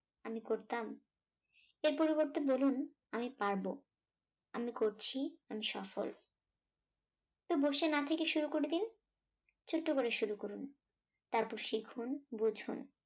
আমি করতাম এগুলোর পরিবর্তে বলুন আমি পারবো। আমি করছি আমি সফল তো বসে না থেকে শুরু করে দিন ছোট্ট করে শুরু করুন। তারপর শিখুন বুঝুন